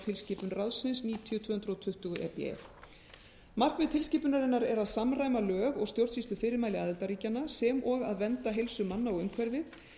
tilskipun ráðsins níutíu tvö hundruð tuttugu e b e markmið tilskipunarinnar er að samræma lög og stjórnsýslufyrirmæli aðildarríkjanna sem og að vernda heilsu manna og umhverfið